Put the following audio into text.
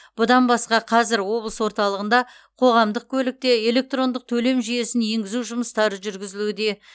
бұдан басқа қазір облыс орталығында қоғамдық көлікте электрондық төлем жүйесін енгізу жұмыстары жүргізілуде